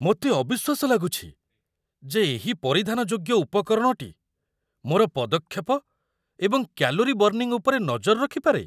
ମୋତେ ଅବିଶ୍ୱାସ ଲାଗୁଛି, ଯେ ଏହି ପରିଧାନଯୋଗ୍ୟ ଉପକରଣଟି ମୋର ପଦକ୍ଷେପ ଏବଂ କ୍ୟାଲୋରି ବର୍ନିଂ ଉପରେ ନଜର ରଖିପାରେ।